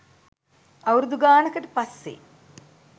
අවුරුදු ගානකට පස්සේ